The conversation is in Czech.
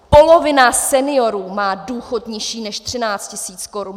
Polovina seniorů má důchod nižší než 13 000 korun.